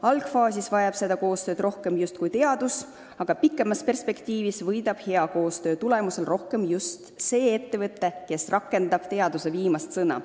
Algfaasis vajab seda koostööd rohkem justkui teadus, aga kaugemas perspektiivis võidab hea koostöö tulemusel rohkem just ettevõte, kes rakendab teaduse viimast sõna.